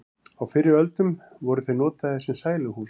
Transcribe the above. á fyrri öldum voru þeir notaðir sem sæluhús